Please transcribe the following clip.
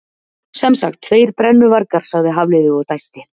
Sem sagt, tveir brennuvargar- sagði Hafliði og dæsti.